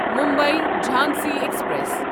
Mumbai Jhansi express